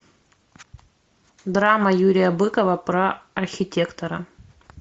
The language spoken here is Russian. драма юрия быкова про архитектора